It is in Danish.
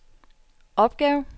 opgave